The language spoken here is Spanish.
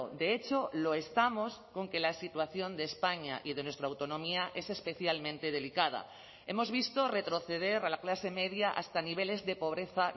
de hecho lo estamos con que la situación de españa y de nuestra autonomía es especialmente delicada hemos visto retroceder a la clase media hasta niveles de pobreza